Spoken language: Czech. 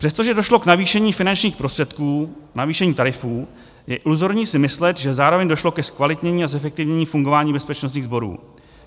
Přestože došlo k navýšení finančních prostředků, navýšení tarifů, je iluzorní si myslet, že zároveň došlo ke zkvalitnění a zefektivnění fungování bezpečnostních sborů.